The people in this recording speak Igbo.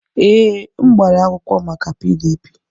Ee, m gbara akwụkwọ maka PDP.